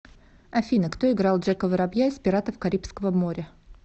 афина кто играл джека воробья из пиратов карибского моря